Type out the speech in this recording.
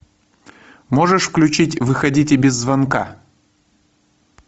можешь включить выходите без звонка